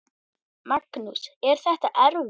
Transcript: Magnús: Er þetta erfitt?